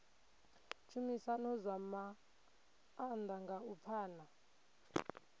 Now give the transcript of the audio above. tshumisano zwa maanḓa nga u pfana